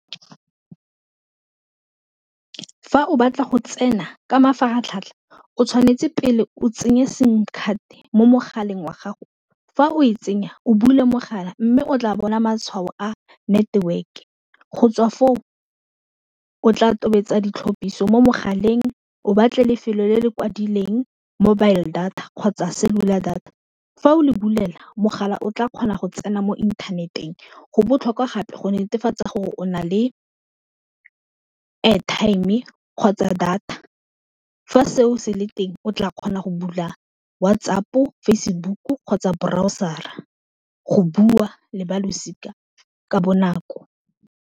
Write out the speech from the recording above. Fa o batla go tsena ka mafaratlhatlha o tshwanetse pele o tsenye sim card mo mogaleng wa gago, fa o e tsenya o bule mogala mme o tla bona matshwao a network-e, go tswa foo o tla tobetsa ditlhapiso mo mogaleng o batle lefelo le le kwadileng mobile data kgotsa cellular data, fa o le bulela mogala o tla kgona go tsena mo inthaneteng go botlhokwa gape go netefatsa gore o na le airtime-e kgotsa data fa seo se le teng o tla kgona go bula WhatsApp, Facebook kgotsa boraosara, gore go bua le balosika ka bonako.